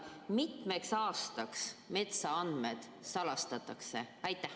Mitmeks aastaks metsaandmed salastatakse?